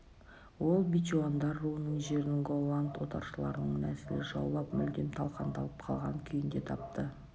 ол бечуандар руының жерін голланд отаршылдарының нәсілі жаулап мүлдем талқандалып қалған күйінде тапты